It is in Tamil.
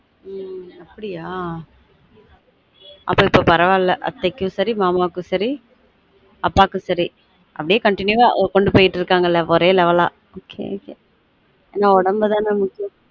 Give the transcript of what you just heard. ம் அப்டியா அப்ப இப்பொ பரவாயில்ல அத்தைக்கும் சரி மாமாக்கும் சரி அப்பாக்கும் சரி அப்டியே continue வா கொண்டு போய்ட்டு இருக்காங்க ஒரே level அ ok ok ஏன்னா உடம்பு தான முக்கியம்